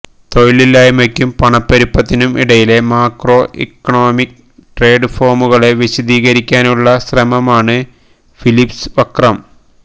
തൊഴിലില്ലായ്മയ്ക്കും പണപ്പെരുപ്പത്തിനും ഇടയിലെ macro economic ട്രേഡ്ഫോമുകളെ വിശദീകരിക്കാനുള്ള ശ്രമമാണ് ഫിലിപ്സ് വക്രം